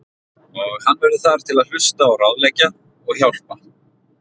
Og hann verður þar til að hlusta og ráðleggja og hjálpa.